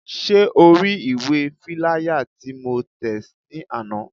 Ṣé o ri ìwé fíláyà tí mo tẹ̀ ní àná?